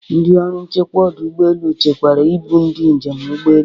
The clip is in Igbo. Ndị ọrụ nchekwa ọdụ ụgbọelu chekwara ibu ndị njem ụgbọelu.